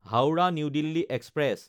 Howrah New Delhi express